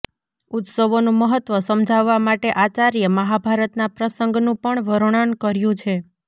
ઉત્સવોનું મહત્વ સમજાવવા માટે આચાર્યે મહાભારતના પ્રસંગનું પણ વર્ણન કર્યું છે